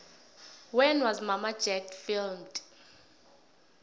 when was mamma jack filmed